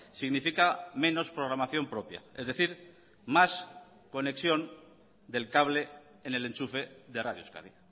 significa menos programación propia es decir más conexión del cable en el enchufe de radio euskadi